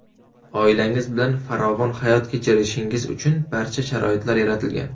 Oilangiz bilan farovon hayot kechirishingiz uchun barcha sharoitlar yaratilgan.